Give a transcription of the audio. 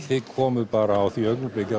þið komuð bara á því augnabliki